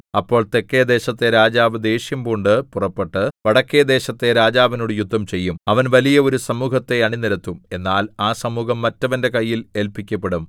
അപ്പോൾ തെക്കെദേശത്തെ രാജാവ് ദ്വേഷ്യം പൂണ്ട് പുറപ്പെട്ട് വടക്കെദേശത്തെ രാജാവിനോട് യുദ്ധം ചെയ്യും അവൻ വലിയ ഒരു സമൂഹത്തെ അണിനിരത്തും എന്നാൽ ആ സമൂഹം മറ്റവന്റെ കയ്യിൽ ഏല്പിക്കപ്പെടും